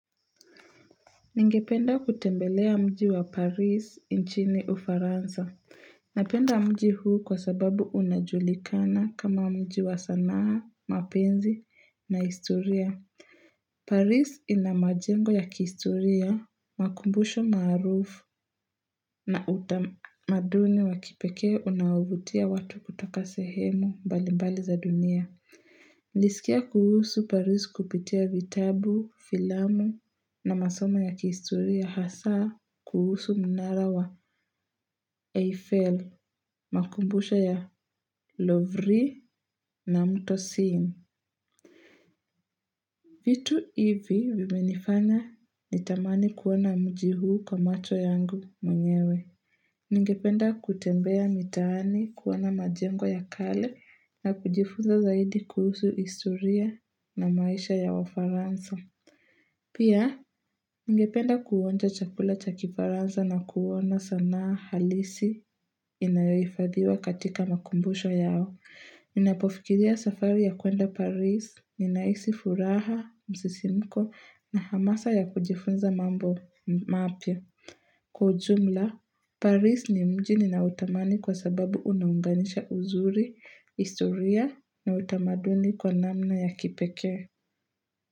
Ningependa kutembelea mji wa Paris inchini Ufaransa. Napenda mji huu kwa sababu unajulikana kama mji wa sanaa, mapenzi na historia. Paris ina majengo ya kihistoria, makumbusho maarufu na utamaduni wakipekee unaovutia watu kutoka sehemu mbalimbali za dunia. Nilisikia kuhusu paris kupitia vitabu, filamu na masomo ya kihistoria hasaa kuhusu mnara wa Eiffel, makumbusho ya Lovry na mto Scene. Vitu hivi vimenifanya nitamani kuona mji huu kwa macho yangu mwenyewe. Ningependa kutembea mitaani kuona majengo ya kale na kujifuza zaidi kuhusu historia na maisha ya wafaransa. Pia, ningependa kuonja chakula cha kifaransa na kuona sanaa halisi inayohifadhiwa katika makumbusho yao. Ninapofikiria safari ya kuenda Paris, ninahisi furaha, msisimko na hamasa ya kujifunza mambo mapya. Kwa ujumla, Paris ni mji ninaotamani kwa sababu unaunganisha uzuri, historia na utamaduni kwa namna ya kipekee.